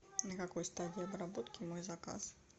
на какой стадии обработки мой заказ